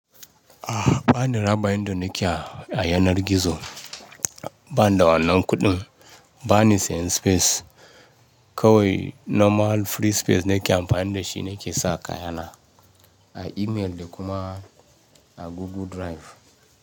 A ba ni raba inda nake a yanar gizo, ba ni wa'anan kuɗin, ba ni sayan space kawai normal free space na ke amfani da shi nake sa kayana a email da kuma a Google Drive.